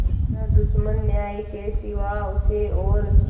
न दुश्मन न्याय के सिवा उसे और